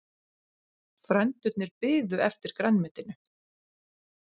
Frændurnir biðu eftir grænmetinu.